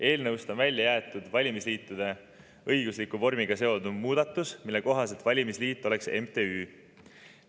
Eelnõust on välja jäetud valimisliitude õigusliku vormiga seonduv muudatus, mille kohaselt valimisliit oleks MTÜ.